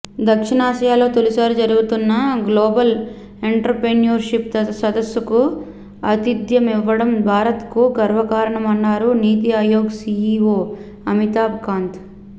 దక్షిణాసియాలో తొలిసారి జరుగుతున్న global entrepreneurship సదస్సుకు ఆతిధ్యమివ్వడం భారత్కు గర్వకారణమన్నారు నీతి ఆయోగ్ సీఈఓ అమితాబ్ కాంత్